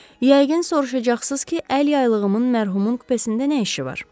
Yəqin soruşacaqsınız ki, əl yaylığımın mərhumun kupesində nə işi var?